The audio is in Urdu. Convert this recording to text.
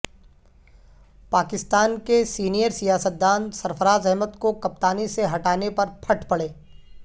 پاکستان کے سینئر سیاستدان سرفرازاحمد کو کپتانی سے ہٹانے پر پھٹ پڑے